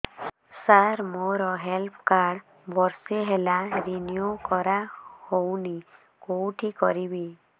ସାର ମୋର health card ବର୍ଷେ ହେଲା ରିନିଓ କରା ହଉନି କଉଠି କରିବି